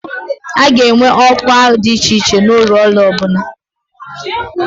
A ga-enwe ọkwa dị iche iche n'ụlọ ọrụ ọ bụla